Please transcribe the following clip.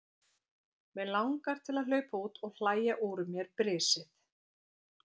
Mig langar til að hlaupa út og hlæja úr mér brisið.